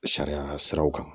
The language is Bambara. Sariya siraw kan